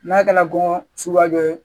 N'a kɛra kɔngɔ suguya dɔ ye